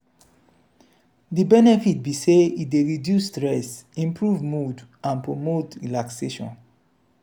di benefit be say e dey reduce stress improve mood and promote relaxation.